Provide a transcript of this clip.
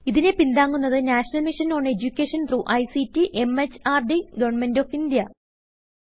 ഇതിനെ പിന്താങ്ങുന്നത് national mission on education through ICT MHRD government of India